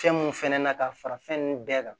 Fɛn mun fɛnɛ na ka fara fɛn nunnu bɛɛ kan